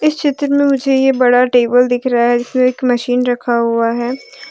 इस चित्र में मुझे ये बड़ा टेबल दिख रहा है जिसमें एक मशीन रखा हुआ है।